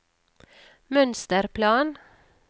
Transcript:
mønsterplan